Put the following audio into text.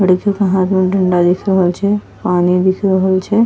लड़के के हाथ में डंडा दिख रहल छे पानी दिख रहल छे।